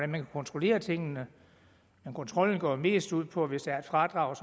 man kan kontrollere tingene men kontrollen går mest ud på at hvis der er et fradrag